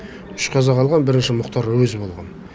үш қазақ алған бірінші мұхтар әуезов алған